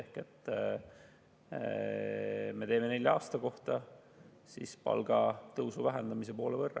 Seega me teeme neljaks aastaks palgatõusu vähendamise poole võrra.